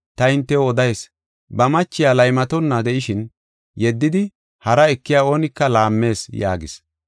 Ta hintew odayis; ba machiya laymatonna de7ishin yeddidi hara ekiya oonika laammees” yaagis.